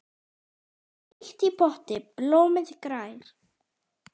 Frítt í potti blómið grær.